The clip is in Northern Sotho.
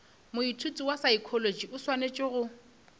moithuti wa saekholotši a swanetšego